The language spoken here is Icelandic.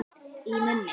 Í munni